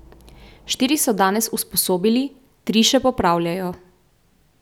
Štiri so danes usposobili, tri še popravljajo.